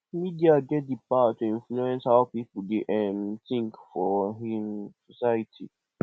media get di power to influence how pipo dey um tink for um society